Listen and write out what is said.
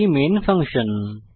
এটি main function